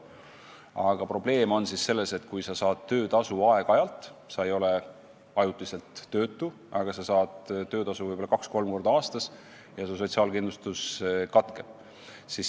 Aga probleem on selles, et kui sa saad töötasu aeg-ajalt, sa ei ole ajutiselt töötu, aga saad töötasu võib-olla 2–3 korda aastas, siis su sotsiaalkindlustus katkeb.